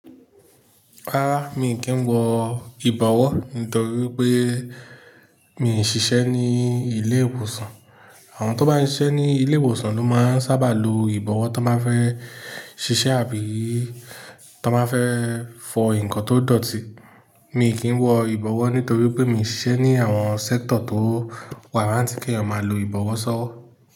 Rárá, mi kì í wọ ìbọ̀wọ́ nítorí pé mi ò ṣiṣẹ́ ní ilé-ìwòsàn. Àwọn tó bá ń ṣiṣẹ́ ní ilé-ìwòsàn ló máa ń sábà lo ìbọ̀wọ́ tó máa fẹ́ ṣiṣẹ́ àbí tó báa fẹ́ fọ ǹkan tó dọ̀tí. Mi ò kí ń wọ ìbọ̀wọ́ nítorí pé mi ò ṣiṣẹ́ ní àwọn sector tó wàráǹtí kí ọmọ lo ìbọ̀wọ́ sọ́wọ́.